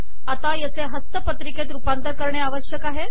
आता याचे हस्तपत्रिकेत रूपांतर करणे आवश्यक आहे